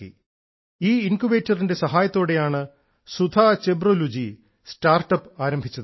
ഈ ഇൻക്യൂബേറ്ററിന്റെ സഹായത്തോടെയാണ് ശ്രീമതി സുധ ചെമ്പോലു സ്റ്റാർട്ടപ്പ് ആരംഭിച്ചത്